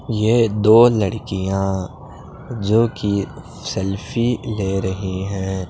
यह दो लड़कियां जो की सेल्फी ले रही है।